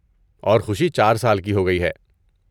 اور خوشی چار سال کی ہو گئی ہے۔